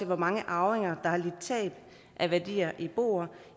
hvor mange arvinger der har lidt tab af værdier i boer